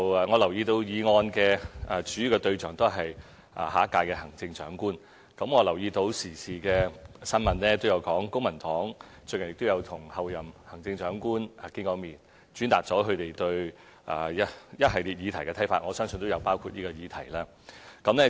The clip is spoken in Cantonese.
我留意到議案的主要促請對象是下一屆行政長官，亦留意到時事新聞提到公民黨最近與候任行政長官見面，轉達了他們對一系列議題的看法，我相信亦有包括這個議題。